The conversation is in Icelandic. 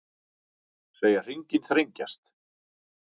Segja hringinn þrengjast